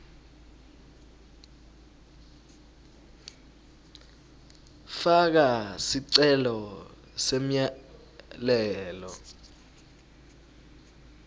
faka sicelo semyalelo